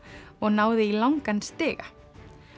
og náði í langan stiga